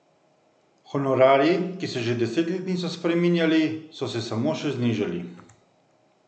Honorarji, ki se že deset let niso spreminjali, so se samo še znižali.